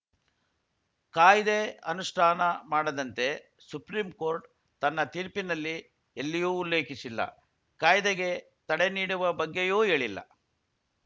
ಕಾಯ್ದೆ ಅನುಷ್ಠಾನ ಮಾಡದಂತೆ ಸುಪ್ರೀಂಕೋರ್ಟ್‌ ತನ್ನ ತೀರ್ಪಿನಲ್ಲಿ ಎಲ್ಲಿಯೂ ಉಲ್ಲೇಖಿಸಿಲ್ಲ ಕಾಯ್ದೆಗೆ ತಡೆ ನೀಡುವ ಬಗ್ಗೆಯೂ ಹೇಳಿಲ್ಲ